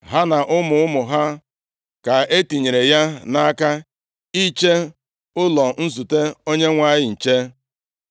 Ha na ụmụ ụmụ ha ka e tinyere ya nʼaka iche ụlọ nzute Onyenwe anyị nche.